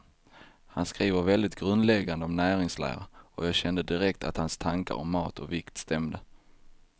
Han skriver väldigt grundläggande om näringslära, och jag kände direkt att hans tankar om mat och vikt stämde.